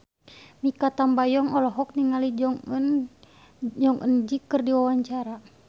Mikha Tambayong olohok ningali Jong Eun Ji keur diwawancara